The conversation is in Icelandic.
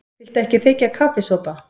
Viltu ekki þiggja kaffisopa?